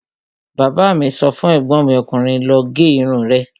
Bàbá mi sọ fún ègbọ́n mi ọkùnrin 'lọ gé irun rẹ'